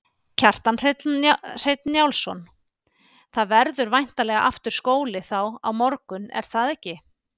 Kjartan Hreinn Njálsson: Það verður væntanlega aftur skóli þá á morgun er það ekki?